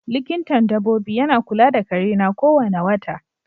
Likintan dabobi yana kula da kare na ko wane wota.